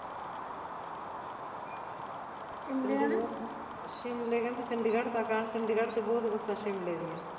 ਸ਼ਿਮਲੇ ਕਹਿੰਦੀ ਚੰਡੀਗੜ ਤਕ ਆਨਾ ਚੰਡੀਗੜ ਤੇ ਬਹੁਤ ਬੱਸਾਂ ਸ਼ਿਮਲੇ ਦੀਆ